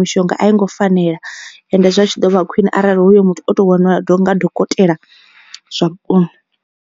mishonga a i ngo fanela ende zwi a tshi ḓo vha khwine arali hoyo muthu oto vhoniwa nga dokotela zwa vhukuma.